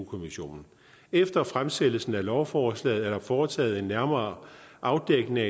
kommissionen efter fremsættelsen af lovforslaget er der foretaget en nærmere afdækning